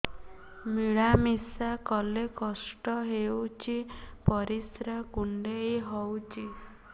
ମିଳା ମିଶା କଲେ କଷ୍ଟ ହେଉଚି ପରିସ୍ରା କୁଣ୍ଡେଇ ହଉଚି